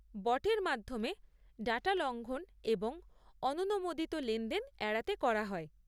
বটের মাধ্যমে ডাটা লঙ্ঘন এবং অননুমোদিত লেনদেন এড়াতে করা হয়।